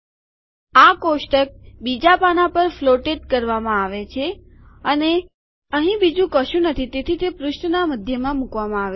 આ કોષ્ટક બીજા પાનાં પર ફ્લોટેડ કરવામાં આવે છે અને અહીં બીજું કશું નથી તેથી તે પૃષ્ઠના મધ્યમાં મુકવામાં આવે છે